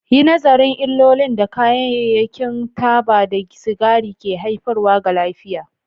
Yi nazarin illolin da kayayyakin taba da sigari ke haifarwa ga lafiya.